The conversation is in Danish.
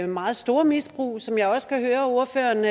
meget store misbrug som jeg også kan høre ordføreren